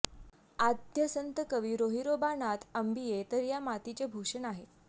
आद्य संतकवी सोहिरोबानाथ आंबिये तर या मातीचे भूषण आहे